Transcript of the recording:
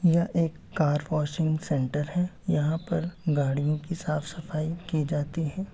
यह एक car washing centre हैं यहाँ पर गाड़ियों की साफ सफाई की जाती हैं |